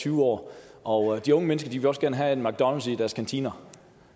tyve år og de unge mennesker vil også gerne have en mcdonalds i deres kantiner